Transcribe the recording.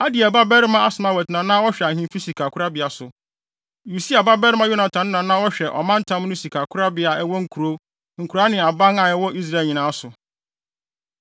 Adiel babarima Asmawet na na ɔhwɛ ahemfi sikakorabea so. Usia babarima Yonatan no na na ɔhwɛ ɔmantam no sikakorabea a ɛwowɔ nkurow, nkuraa ne aban a ɛwɔ Israel nyinaa so.